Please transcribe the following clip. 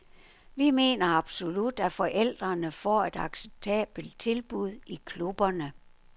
Vi mener absolut, at forældrene får et acceptabelt tilbud i klubberne.